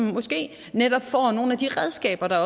måske netop får nogle af de redskaber der